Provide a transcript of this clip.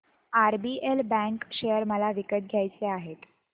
RBL bank share मला विकत घ्यायचे आहेत